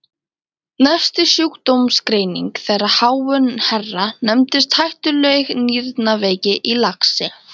Næsta sjúkdómsgreining þeirra háu herra nefndist hættuleg nýrnaveiki í laxi!